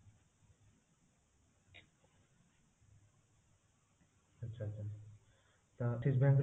ଆଚ୍ଛା ଆଚ୍ଛା ତ axix bank